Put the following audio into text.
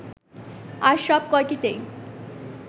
আর সব কয়টিতেই